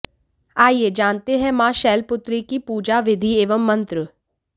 आइए जानते हैं मां शैलपुत्री की पूजा विधि एवं मंत्र